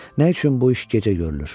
Nə üçün bu iş gecə görülür?